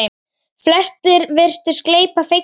Flestir virtust gleypa fegnir við.